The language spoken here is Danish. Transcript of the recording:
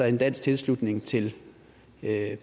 en dansk tilslutning til